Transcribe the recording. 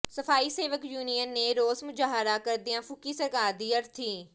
ਸਫ਼ਾਈ ਸੇਵਕ ਯੂਨੀਅਨ ਨੇ ਰੋਸ ਮੁਜ਼ਾਹਰਾ ਕਰਦਿਆਂ ਫੂਕੀ ਸਰਕਾਰ ਦੀ ਅਰਥੀ